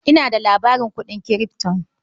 Ina da labarin kuɗin kirifto.